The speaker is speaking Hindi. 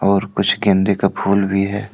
और कुछ गेंदे का फूल भी है।